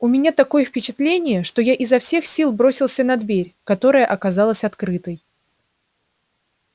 у меня такое впечатление что я изо всех сил бросился на дверь которая оказалась открытой